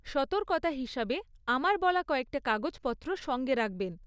সতর্কতা হিসাবে, আমার বলা কয়েকটা কাগজপত্র সঙ্গে রাখবেন।